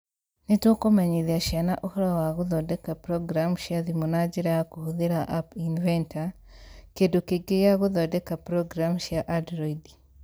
Nĩ tũkũmenyithia ciana ũhoro wa gũthondeka programu cia thimũ na njĩra ya kũhũthĩra App Inventor, kĩndũ kĩngĩ gĩa gũthondeka programu cia Android